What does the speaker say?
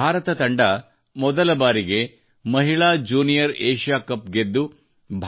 ಭಾರತ ತಂಡವು ಮೊದಲಬಾರಿಗೆ ಮಹಿಳಾ ಜ್ಯೂನಿಯರ್ ಏಷ್ಯಾ ಕಪ್ ಗೆದ್ದು